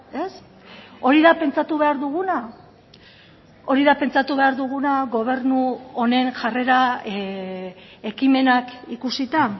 ez hori da pentsatu behar duguna hori da pentsatu behar duguna gobernu honen jarrera ekimenak ikusita